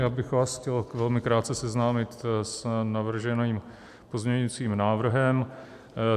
Já bych vás chtěl velmi krátce seznámit s navrženým pozměňovacím návrhem.